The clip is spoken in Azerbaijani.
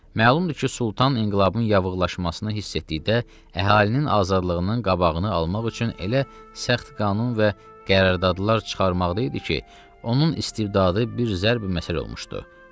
Məlumdur ki, Sultan inqilabın yavıqlaşmasını hiss etdikdə əhalinin azadlığının qabağını almaq üçün elə sərt qanun və qərardadlar çıxarmaqda idi ki, onun istibdadı bir zərb məsəl olmuşdu.